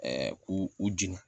k'u u jenina